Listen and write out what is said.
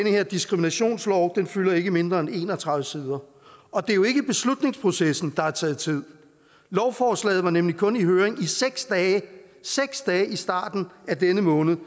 her diskriminationslov fylder ikke mindre end en og tredive sider og det er jo ikke beslutningsprocessen der har taget tid lovforslaget var nemlig kun i høring i seks dage seks dage i starten af denne måned